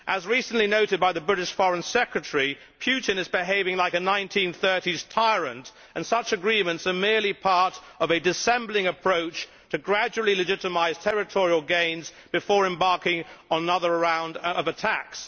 As recently noted by the British Foreign Secretary, Putin is behaving like a 1930s tyrant and such agreements are merely part of a dissembling approach to gradually legitimise territorial gains before embarking on another round of attacks.